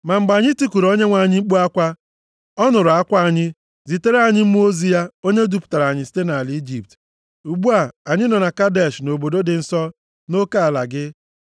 Ma mgbe anyị tikuru Onyenwe anyị mkpu akwa, ọ nụrụ akwa anyị, zitere anyị mmụọ ozi ya, onye dupụtara anyị site nʼala Ijipt. “Ugbu a, anyị nọ na Kadesh obodo dị nso nʼoke ala gị.